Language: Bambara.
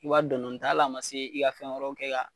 I b'a dɔn dɔni ta al'a ma se i ka fɛn wɛrɛw kɛ ka